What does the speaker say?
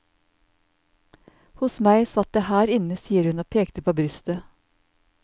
Hos meg satt det her inne, sier hun og peker på brystet.